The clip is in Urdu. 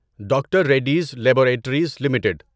doctor Reddy's laboratories limited